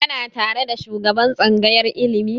Kana tare da shugaban tsangayar ilimi?